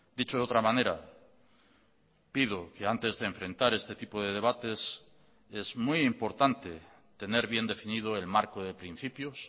dicho de otra manera pido que antes de enfrentar este tipo de debates es muy importante tener bien definido el marco de principios